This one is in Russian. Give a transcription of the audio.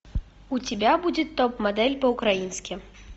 у тебя будет топ модель по украински